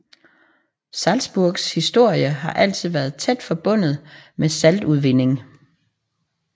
Salzburgs historie har altid været tæt forbundet med saltudvinding